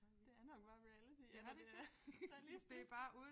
Det er nok bare reality eller det realistisk